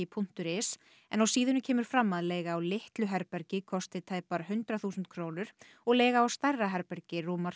punktur is en á síðunni kemur fram að leiga á litlu herbergi kosti tæpar hundrað þúsund krónur og leiga á stærra herbergi rúmar